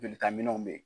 Jolita minɛnw bɛ yen